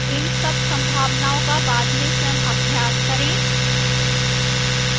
इन सब संभावनाओं का बाद में स्वयं अभ्यास करें